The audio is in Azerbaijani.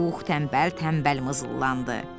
Pux tənbəl-tənbəl mızıllandı.